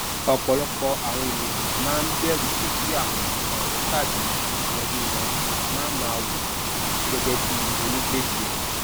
ọpọlọpọ àwọn ènìyàn máa ń bẹrù pé kí àwọn ọrẹ tàbí ẹbí wọn máa máa wo wọn gẹgẹ bíi onígbèsè